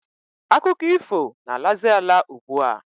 Akụkọ ifo na-alazi ala ugbua.